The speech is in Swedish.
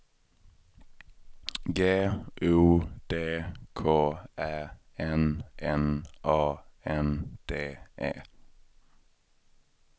G O D K Ä N N A N D E